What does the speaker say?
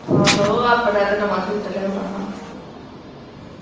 ਆਹੋ ਆਪਣਾ ਤੇ ਨਵਾਂ ਸੂਟ ਲਿਆਉਣਾ ਵਾ